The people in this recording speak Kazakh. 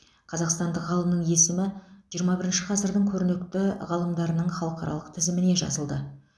қазақстандық ғалымның есімі жиырма бірінші ғасырдың көрнекті ғалымдарының халықаралық тізіміне жазылды